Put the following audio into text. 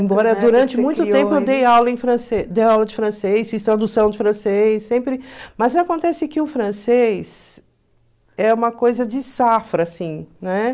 Embora durante muito tempo eu dei aula em francê dei aula de francês, fiz tradução de francês, sempre... Mas acontece que o francês é uma coisa de safra, assim, né?